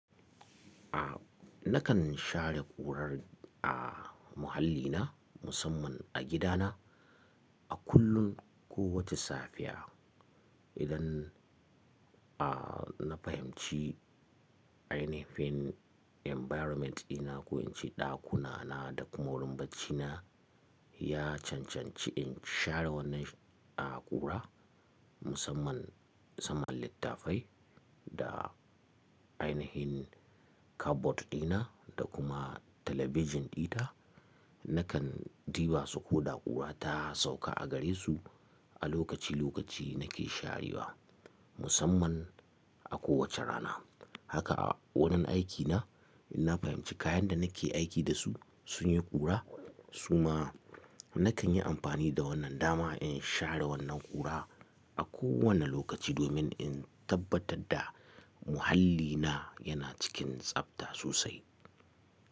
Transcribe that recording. A nakan share ƙurar a muhallina musamman a gidana, a kullum ko wace safiya idan, a na fahimci ainihin environment dina ko in ce ɗakuna na da kuma wurin bacina ya cancanci in share wannan a ƙura, musamman saman littafai da ainihin cupboard dina da kuma talabijin ɗita. Nakan ɗiba su koɗa ƙura ta sauka a gare su a lokaci lokaci nake sharewa musamman a kowace rana. Haka a wurin aikina in na fahimci kayan da nake aiki da su sun yi ƙura suma nakan yi amfani da wannan dama in share wannan ƙura a kowane lokaci domin in tabbatar da muhallina yana cikin tsabta sosai.